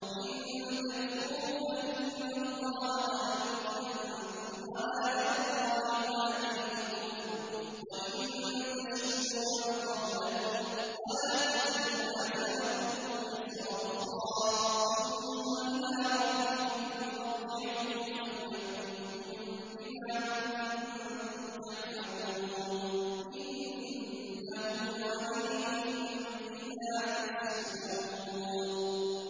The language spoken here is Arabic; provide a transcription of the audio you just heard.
إِن تَكْفُرُوا فَإِنَّ اللَّهَ غَنِيٌّ عَنكُمْ ۖ وَلَا يَرْضَىٰ لِعِبَادِهِ الْكُفْرَ ۖ وَإِن تَشْكُرُوا يَرْضَهُ لَكُمْ ۗ وَلَا تَزِرُ وَازِرَةٌ وِزْرَ أُخْرَىٰ ۗ ثُمَّ إِلَىٰ رَبِّكُم مَّرْجِعُكُمْ فَيُنَبِّئُكُم بِمَا كُنتُمْ تَعْمَلُونَ ۚ إِنَّهُ عَلِيمٌ بِذَاتِ الصُّدُورِ